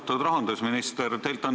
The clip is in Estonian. Austatud rahandusminister!